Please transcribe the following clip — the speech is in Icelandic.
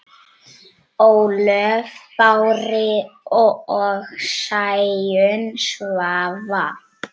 Ólöf Bára og Sæunn Svava.